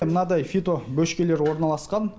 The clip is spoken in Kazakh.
мынадай фито бөшкелер орналасқан